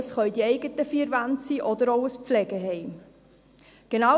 Das Daheim können die eigenen vier Wände oder auch ein Pflegeheim sein.